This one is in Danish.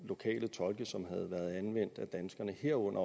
lokale tolke som havde været anvendt af danskerne herunder